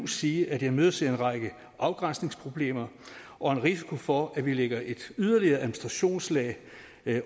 sige at jeg imødeser en række afgrænsningsproblemer og en risiko for at vi lægger et yderligere administrationslag